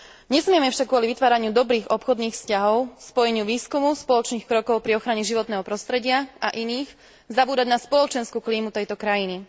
Nesmieme však kvôli vytváraniu dobrých obchodných vzťahov, spojeniu výskumu, spoločných krokov pri ochrane životného prostredia a iných zabúdať na spoločenskú klímu tejto krajiny.